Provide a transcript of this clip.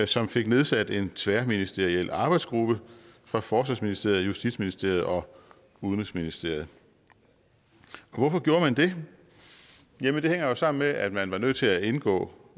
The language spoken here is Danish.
som fik nedsat en tværministeriel arbejdsgruppe fra forsvarsministeriet justitsministeriet og udenrigsministeriet hvorfor gjorde man det jamen det hænger jo sammen med at man var nødt til at indgå